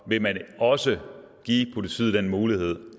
vil man også give politiet den mulighed